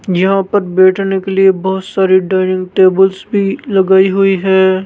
यहां पर बैठने के लिए बहोत सारी डायनिंग टेबल्स भी लगाई हुई है।